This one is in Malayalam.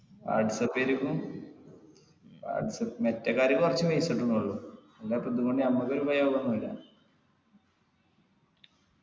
വാട്സാപ്പ് ലേക്കും വാട്സാപ്പ് മെറ്റെ കാര്യം കുറച്ച് ഉള്ളു എന്ന പിന്നെ ഞമ്മക്ക് ഉപയോഗന്നും ഇല്ല